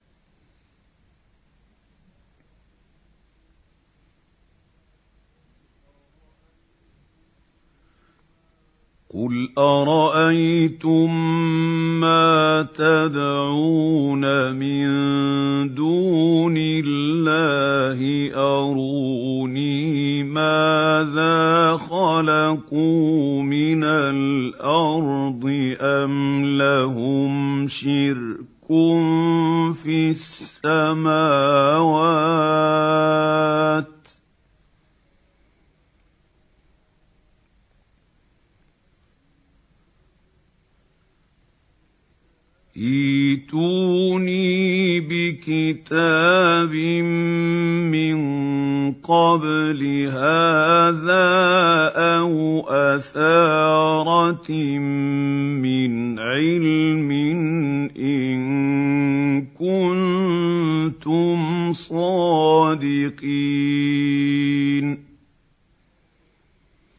قُلْ أَرَأَيْتُم مَّا تَدْعُونَ مِن دُونِ اللَّهِ أَرُونِي مَاذَا خَلَقُوا مِنَ الْأَرْضِ أَمْ لَهُمْ شِرْكٌ فِي السَّمَاوَاتِ ۖ ائْتُونِي بِكِتَابٍ مِّن قَبْلِ هَٰذَا أَوْ أَثَارَةٍ مِّنْ عِلْمٍ إِن كُنتُمْ صَادِقِينَ